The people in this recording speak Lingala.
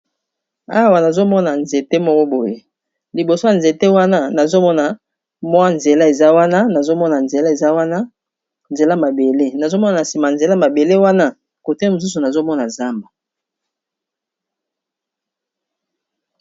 Awa nazomona nzete moko boye liboso ya nzete wana nazomona mwa nzela eza wana nazomona nzela eza wana elamabele nazomona na sima nzela mabele wana kote mosusu nazomona zamba.